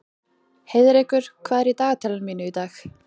Heiðrekur, hvað er í dagatalinu mínu í dag?